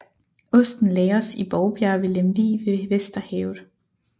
Osten lagres i Bovbjerg ved Lemvig ved Vesterhavet